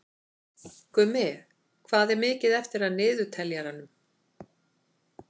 Gummi, hvað er mikið eftir af niðurteljaranum?